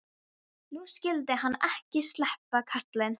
Nú skyldi hann ekki sleppa, karlinn.